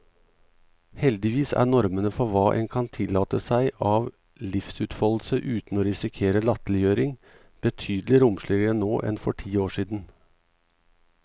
Heldigvis er normene for hva en kan tillate seg av livsutfoldelse uten å risikere latterliggjøring, betydelig romsligere nå enn for noen tiår siden.